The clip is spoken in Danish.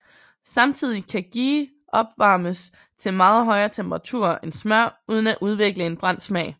Samtidig kan ghee opvarmes til meget højere temperaturer end smør uden at udvikle en brændt smag